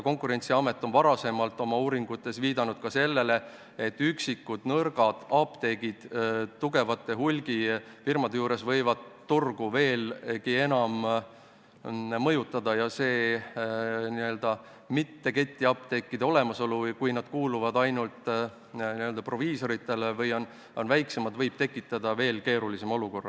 Konkurentsiamet on oma varasemates uuringutes viidanud ka sellele, et üksikud nõrgad apteegid tugevate hulgifirmade kõrval võivad turgu veelgi enam mõjutada ja et n-ö mitte-ketiapteekide olemasolu või see, kui need kuuluvad ainult proviisoritele või on väiksemad, võib tekitada veelgi keerulisema olukorra.